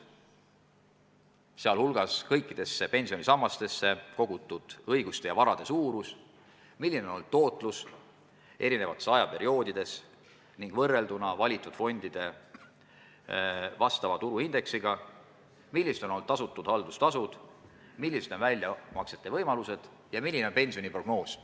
Inimene peab teadma kõikidesse pensionisammastesse kogutud õiguste ja varade suurust, seda, milline on olnud tootlus eri perioodidel ning võrrelduna valitud fondide vastava tuluindeksiga, kui suur on olnud tasutud haldustasu, millised on väljamaksete võimalused ja milline on pensioniprognoos.